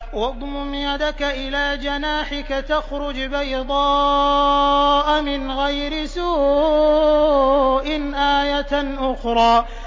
وَاضْمُمْ يَدَكَ إِلَىٰ جَنَاحِكَ تَخْرُجْ بَيْضَاءَ مِنْ غَيْرِ سُوءٍ آيَةً أُخْرَىٰ